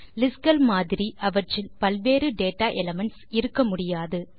list கள் மாதிரி அவற்றில் பல்வேறு டேட்டா எலிமென்ட்ஸ் இருக்க முடியாது